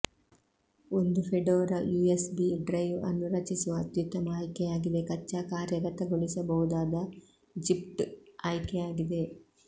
ಒಂದು Fedora USB drive ಅನ್ನು ರಚಿಸುವ ಅತ್ಯುತ್ತಮ ಆಯ್ಕೆಯಾಗಿದೆ ಕಚ್ಚಾ ಕಾರ್ಯಗತಗೊಳಿಸಬಹುದಾದ ಜಿಪ್ಡ್ ಆಯ್ಕೆಯಾಗಿದೆ